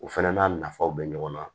U fana n'a nafaw bɛ ɲɔgɔn na